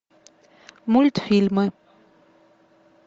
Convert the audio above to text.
мультфильмы